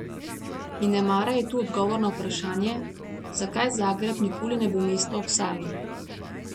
In nemara je tu odgovor na vprašanje, zakaj Zagreb nikoli ne bo mesto ob Savi.